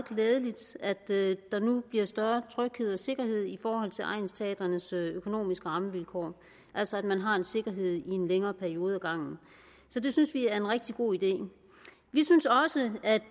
glædeligt at der nu bliver større tryghed og sikkerhed i forhold til egnsteatrenes økonomiske rammevilkår altså at man har en sikkerhed i en længere periode ad gangen så det synes vi er en rigtig god idé vi synes også at